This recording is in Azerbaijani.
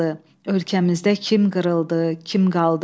Ölkəmizdə kim qırıldı, kim qaldı?